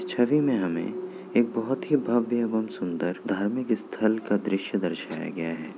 इस छवि में हमे एक बहुत ही भव्य एवं सुंदर धार्मिक स्थल का दृश्य दर्शाया गया हैं।